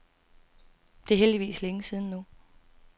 Det er heldigvis længe siden nu.